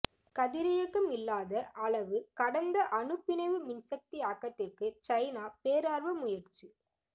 கதிரியக்கம் இல்லாத அளவு கடந்த அணுப் பிணைவு மின்சக்தி ஆக்கத்திற்கு சைனா பேரார்வ முயற்சி